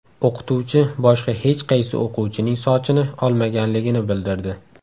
O‘qituvchi boshqa hech qaysi o‘quvchining sochini olmaganligini bildirdi.